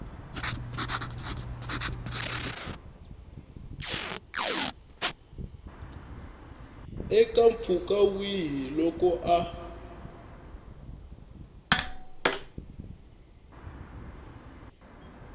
eka mpfhuka wihi loko a